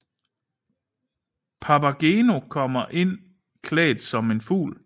Papageno kommer ind klædt som en fugl